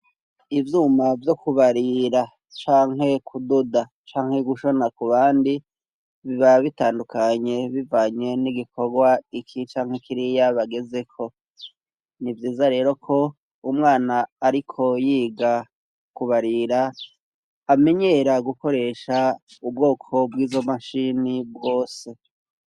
Ivyuma vyo kubarira, canke kudoda, canke gushona ku bandi, biba bitandukanye bivanye n'igikorwa iki canke kiriya bagezeko. Ni vyiza rero ko umwana ariko yiga kubarira amenyera gukoresha ubwoko bw'izo mashini bwose.